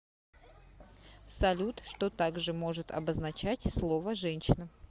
салют что также может обозначать слово женщина